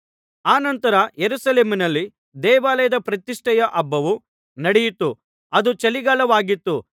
ಆನಂತರ ಯೆರೂಸಲೇಮಿನಲ್ಲಿ ದೇವಾಲಯದ ಪ್ರತಿಷ್ಠೆಯ ಹಬ್ಬವು ನಡೆಯಿತು ಅದು ಚಳಿಗಾಲವಾಗಿತ್ತು